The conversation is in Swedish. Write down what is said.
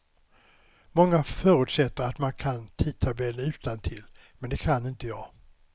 Många förutsätter att man kan tidtabellen utantill, men det kan inte jag.